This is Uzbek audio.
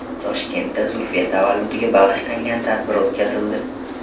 Toshkentda Zulfiya tavalludiga bag‘ishlangan tadbir o‘tkazildi.